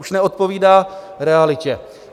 Už neodpovídá realitě.